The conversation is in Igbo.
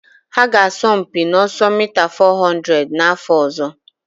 Ha ga-asọ mpi n'ọsọ mita 400 n'afọ ọzọ.